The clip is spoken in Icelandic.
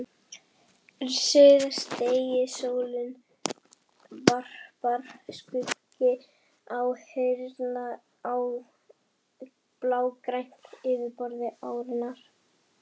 Síðdegissólin varpar skuggum háhýsanna á blágrænt yfirborð árinnar.